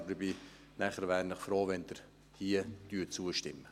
Aber ich wäre nachher froh, wenn Sie hier zustimmen.